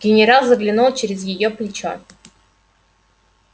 генерал заглянул через её плечо